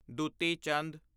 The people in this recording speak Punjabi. ਦੁਤੀ ਚੰਦ